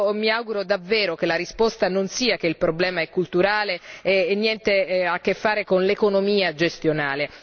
Mi auguro davvero che la risposta non sia che il problema è culturale e non ha niente a che fare con l'economia gestionale.